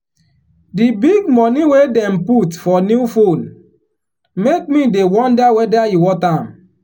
the big money wey dem put for new phone make me dey wonder whether e worth am.